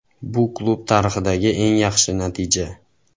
Bu klub tarixidagi eng yaxshi natija.